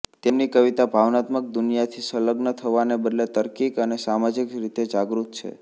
તેમની કવિતા ભાવનાત્મક દુનિયાથી સંલગ્ન થવાને બદલે તાર્કિક અને સામાજિક રીતે જાગૃત છે